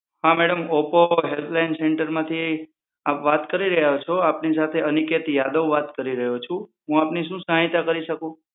હા madam Oppo helpline સેન્ટરમાંથી આપ વાત કરી રહ્યા છો આપની સાથે અનિકેત યાદવ વાત કરી રહ્યો છું, હું આપની શું સહાયતા કરી શકું?